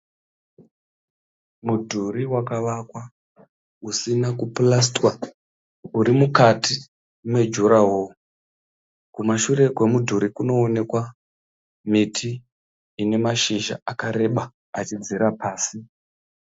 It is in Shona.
Mudhuri wakavakwa usina kupurasitiwa uri mukati mejuraworo. Kumashure kwemudhuri kunoonekwa miti ine mashizha akareba achidzika pasi.